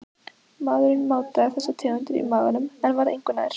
Maðurinn mátaði þessar tegundir í maganum en var engu nær.